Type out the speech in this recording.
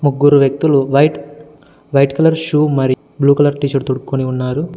ముగ్గురు వ్యక్తులు white white colour shoe మరియు బ్లూ కలర్ టీషర్ట్ తోడుక్కొని ఉన్నారు.